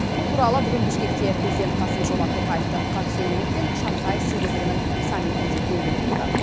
бұл туралы бүгін бішкекте президент қасым жомарт тоқаевтың қатысуымен өткен шанхай сегіздігінің саммитінде белгілі болды